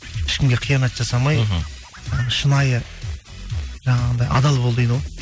ешкімге қиянат жасамай мхм шынайы жаңағындай адал бол дейді ғой